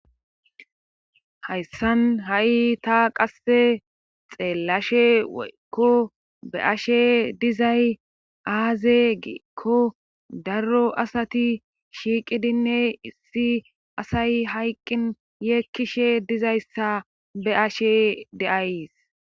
Hayssan ha'i ta qasse xeellashe woykko be ashe dizay aaze giikko darro asati shiiqidinne issi asay hayqqin yeekkishe dizayssa be ashe deayys.